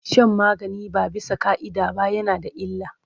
Shan magani ba bisa ƙa'ida ba yana da illa.